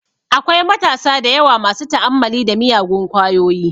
Akwai matasa dayawa masu ta'ammali da miyagun kwayoyi